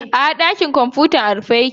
A'a, ɗakin kwamfutar a rufe yake.